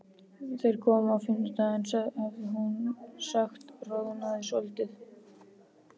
Þeir koma á fimmtudaginn, hafði hún sagt og roðnað svolítið.